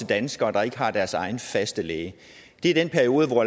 danskere der ikke har deres egen faste læge det er den periode hvor